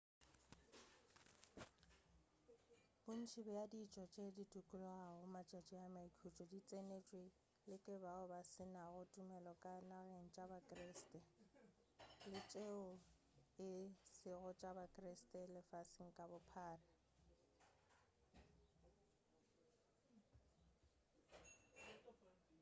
bontši bja ditšo tšeo di dikologago matšatši a maikhutšo di tsenetšwe le ke bao ba se nago tumelo ka dinageng tša bakreste le tšeo e sego tša ba-kreste lefaseng ka bophara